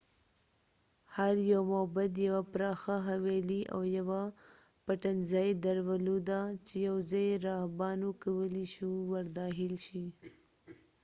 هر یو معبد یوه پراخه حویلۍ او یوه پټنځای درلوده چې یوازې راهبانو کولې شو ورداخل شي